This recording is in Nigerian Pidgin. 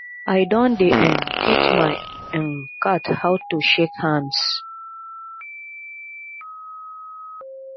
i don dey um teach my um cat how to shake hands